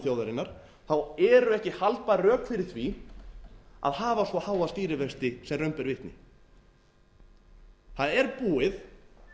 þjóðarinnar eru ekki haldbær rök fyrir því að hafa svo háa stýrivexti sem raun ber vitni það er búið